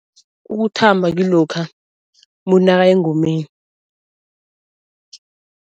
Ukuthamba kilokha umuntu nakaya engomeni.